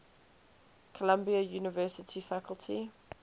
columbia university faculty